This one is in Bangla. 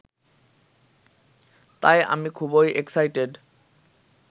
তাই আমি খুবই এক্সাইটেড